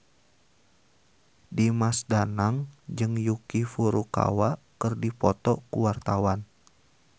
Dimas Danang jeung Yuki Furukawa keur dipoto ku wartawan